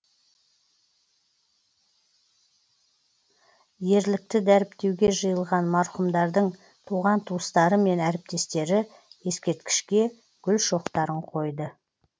ерлікті дәріптеуге жиылған марқұмдардың туған туыстары мен әріптестері ескерткішке гүл шоқтарын қойды